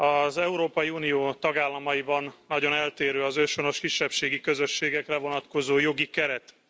Az Európai Unió tagállamaiban nagyon eltérő az őshonos kisebbségi közösségekre vonatkozó jogi keret.